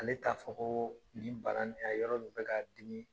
Ale t'a fɔ ko ni bana in yan yɔrɔ de bi ka dimi